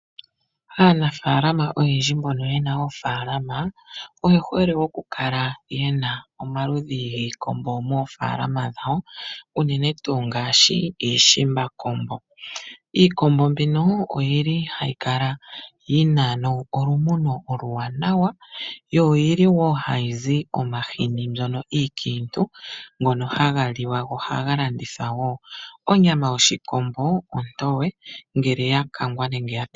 Aanafalama oyendji mbono yena oofalama oye hole oku kala yena omaludhi giikombo moofalama dhawo unene tuu ngaashi iishimbakombo. Iikombo mbino oyili hayi kala yina olumuno oluwanawa yo oyili wo hayi zi omahini mbyono ikiintu ngono haga liwa noha ga landithwa wo. Onyama yoshikombo ontowe ngele ya kangwa nenge ya